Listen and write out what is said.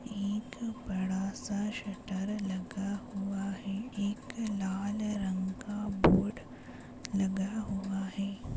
एक बड़ासा शटर लगा हुआ है एक लाल रंग का बोर्ड लगा हुआ है।